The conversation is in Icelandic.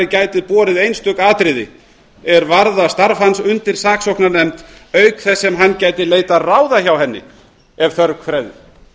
gæti borið einstök atriði er varða starfs hans undir saksóknarnefnd auk þess sem hann gæti leitað ráða hjá henni ef þörf krefði